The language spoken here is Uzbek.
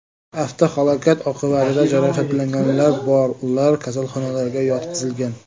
Avtohalokat oqibatida jarohatlanganlar bor, ular kasalxonalarga yotqizilgan.